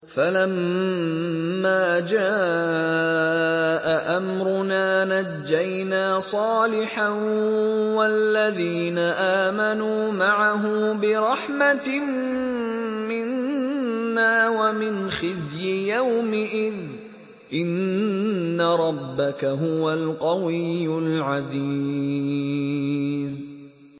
فَلَمَّا جَاءَ أَمْرُنَا نَجَّيْنَا صَالِحًا وَالَّذِينَ آمَنُوا مَعَهُ بِرَحْمَةٍ مِّنَّا وَمِنْ خِزْيِ يَوْمِئِذٍ ۗ إِنَّ رَبَّكَ هُوَ الْقَوِيُّ الْعَزِيزُ